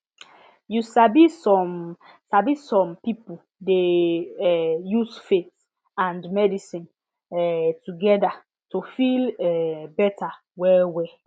you sabi some sabi some pipo dey um use faith and medicine um together to feel um better well well